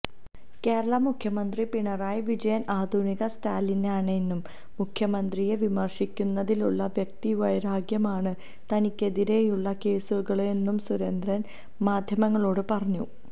കേരള മുഖ്യമന്ത്രി പിണറായി വിജയൻ ആധുനിക സ്റ്റാലിനാണെന്നും മുഖ്യമന്ത്രിയെ വിമര്ശിക്കുന്നതിലുള്ള വ്യക്തിവൈരാഗ്യമാണ് തനിക്കെതിരെയുളള കേസുകളെന്നും സുരേന്ദ്രൻ മാദ്ധ്യമങ്ങളോടു പറഞ്ഞു